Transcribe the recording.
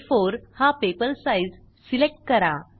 आ4 हा paper size select करा